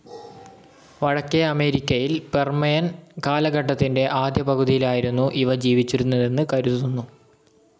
വടക്കേ അമേരിക്കയിൽ പെർമിയൻ കാലഘട്ടത്തിന്റെ ആദ്യപകുതിയിലായിരുന്നു ഇവ ജീവിച്ചിരുന്നതെന്ന് കരുതുന്നു.